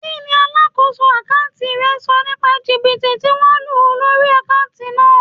Kí ni alákòóso àkántì rẹ sọ nípa jìbìtì tí wón lù lórí àkántì náà?